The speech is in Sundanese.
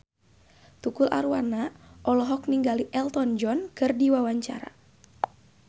Tukul Arwana olohok ningali Elton John keur diwawancara